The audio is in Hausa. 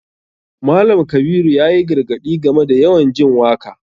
Malam kabiru yayi gargaɗi game da yawan jin waka.